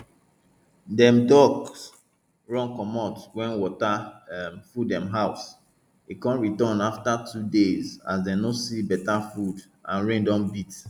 dem ducks run comot wen water um full dem house e con return afta two days as dem no see beta food and rain don beat